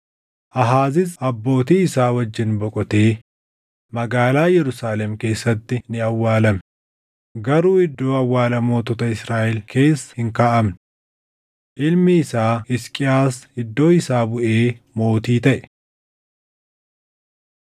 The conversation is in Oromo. Aahaazis abbootii isaa wajjin boqotee magaalaa Yerusaalem keessatti ni awwaalame; garuu iddoo awwaala mootota Israaʼel keessa hin kaaʼamne. Ilmi isaa Hisqiyaas iddoo isaa buʼee mootii taʼe.